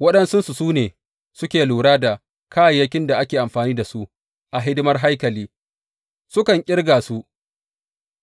Waɗansunsu su ne suke lura da kayayyakin da ake amfani da su a hidimar haikali; sukan ƙirga su